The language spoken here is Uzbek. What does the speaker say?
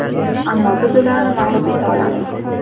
Ammo biz ularni mag‘lub eta olamiz.